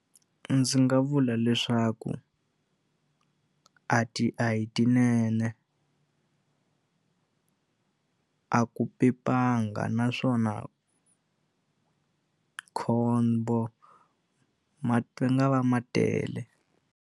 Ndzi nga vula leswaku a ti a hi tinene a ku pepanga naswona khombo nga va ma tele.